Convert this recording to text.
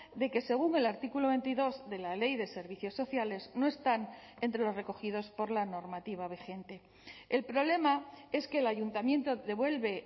de que según el artículo veintidós de la ley de servicios sociales no están entre los recogidos por la normativa vigente el problema es que el ayuntamiento devuelve